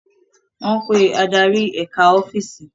Wọ́n pe adarí eka ọ́fíìsì